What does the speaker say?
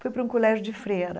Fui para um colégio de freira.